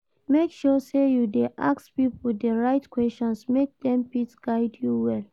Make sure say you de ask pipo di right questions make dem fit guide you well